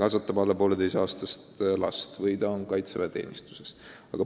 kasvatab alla 1,5-aastast last või ta on kaitseväeteenistuses.